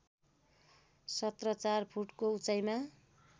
१७४ फुटको उचाइमा